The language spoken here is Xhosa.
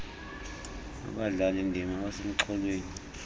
abadlali ndima abasemxholweni